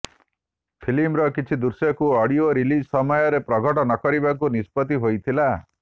ଫିଲ୍ମର କିଛି ଦୃଶ୍ୟକୁ ଅଡିଓ ରିଲିଜ୍ ସମୟରେ ପ୍ରଘଟ ନକରିବାକୁ ନିଷ୍ପତ୍ତି ହୋଇଥିଲା